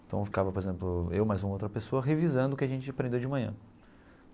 Então ficava, por exemplo, eu mais um ou outra pessoa revisando o que a gente aprendeu de manhã.